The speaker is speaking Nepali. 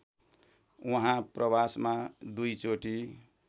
उहाँ प्रवासमा दुईचोटि